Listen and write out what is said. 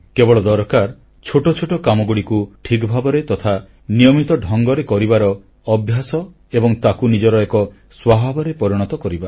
କେବଳ ଦରକାର ଛୋଟଛୋଟ କାମଗୁଡ଼ିକୁ ଠିକ୍ ଭାବରେ ତଥା ନିୟମିତ ଢଙ୍ଗରେ କରିବାର ଅଭ୍ୟାସ ଏବଂ ତାକୁ ନିଜର ଏକ ସ୍ୱଭାବରେ ପରିଣତ କରିବା